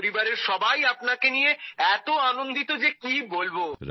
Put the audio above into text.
আমার পরিবারের সবাই আপনাকে নিয়ে এত আনন্দিত যে কি বলবো